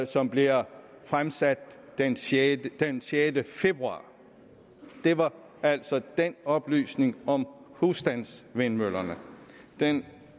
som bliver fremsat den sjette den sjette februar det var altså oplysningen om husstandsvindmøllerne den